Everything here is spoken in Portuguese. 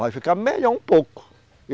Vai ficar melhor um pouco.